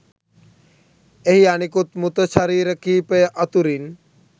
එහි අනෙකුත් මෘත ශරීර කීපය අතුරින්